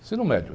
Ensino médio.